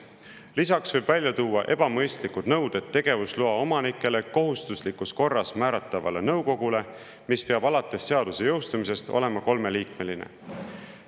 Lisaks võib välja tuua ebamõistlikud nõuded tegevusloa omanikele, kohustuslikus korras määratavale nõukogule, mis peab alates seaduse jõustumisest olema kolmeliikmeline.